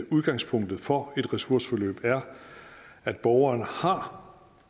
udgangspunktet for et ressourceforløb er at borgeren har